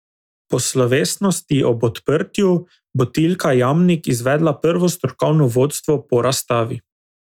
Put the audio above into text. Po slovesnosti ob odprtju bo Tilka Jamnik izvedla prvo strokovno vodstvo po razstavi.